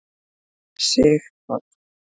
Sighvatur